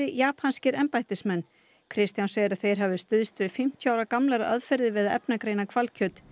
japanskir embættismenn Kristján segir að þeir hafi stuðst við fimmtíu ára gamlar aðferðir við að efnagreina hvalkjöt